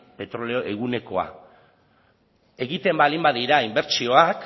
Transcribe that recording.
petrolio egunekoa egiten baldin badira inbertsioak